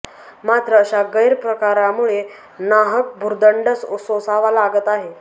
मात्र अशा गैर प्रकारामुळे नाहक भुर्दंड सोसावा लागत आहे